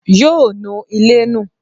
Yoo nu ilé nù.